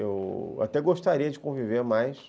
Eu até gostaria de conviver mais.